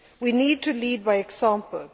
our policies. We need to lead